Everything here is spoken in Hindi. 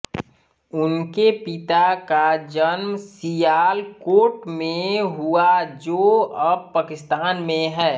उनके पिता का जन्म सियालकोट में हुआजो अब पाकिस्तान में है